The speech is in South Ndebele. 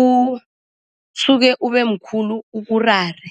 usuke ubemkhulu ukurare.